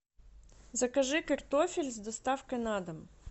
закажи картофель с доставкой на дом